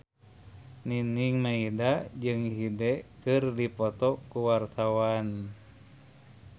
Nining Meida jeung Hyde keur dipoto ku wartawan